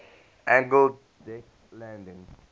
angled deck landing